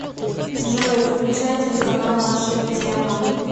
джой включай телеканал наша тема